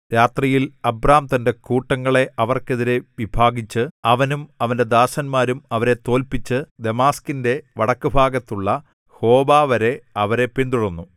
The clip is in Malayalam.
രാത്രിയിൽ അബ്രാം തന്റെ കൂട്ടങ്ങളെ അവർക്കെതിരെ വിഭാഗിച്ചു അവനും അവന്റെ ദാസന്മാരും അവരെ തോല്പിച്ചു ദമാസ്ക്കിന്റെ വടക്കുഭാഗത്തുള്ള ഹോബാവരെ അവരെ പിന്തുടർന്നു